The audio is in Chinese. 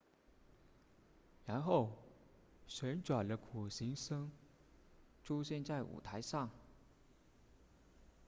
然后旋转的苦行僧出现在舞台上